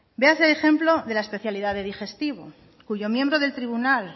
véase el ejemplo de la especialidad de digestivo cuyo miembro del tribunal